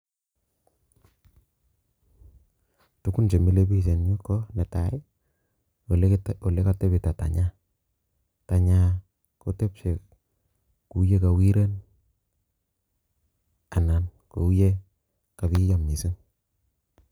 Tugun chemile biik en yu ko netai, ole kotepto tenyany, tenyany kotepche kou ye kowiren ana kou ye kobiyo missing